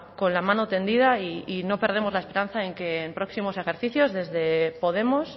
con la mano tendida y no perdemos la esperanza de que en próximos ejercicios desde podemos